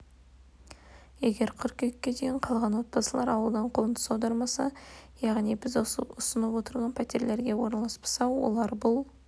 егер қыркүйекке дейін қалған отбасылар ауылдан қоныс аудармаса яғни біз ұсынып отырған пәтерлерге орналаспаса олар бұл